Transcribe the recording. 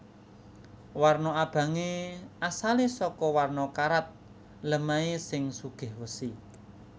Warna abangé asalé saka warna karat lemahé sing sugih wesi